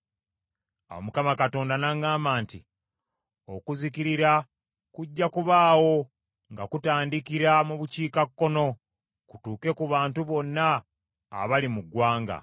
Awo Mukama Katonda n’aŋŋamba nti, “Okuzikirira kujja kubaawo nga kutandikira mu bukiikakkono kutuuke ku bantu bonna abali mu ggwanga.